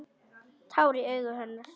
Tár í augum hennar.